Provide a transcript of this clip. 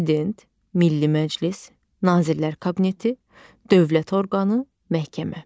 Prezident, Milli Məclis, Nazirlər Kabineti, dövlət orqanı, məhkəmə.